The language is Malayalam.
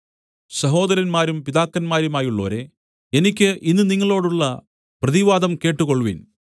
സഹോദരന്മാരും പിതാക്കന്മാരുമായുള്ളോരേ എനിക്ക് ഇന്ന് നിങ്ങളോടുള്ള പ്രതിവാദം കേട്ടുകൊൾവിൻ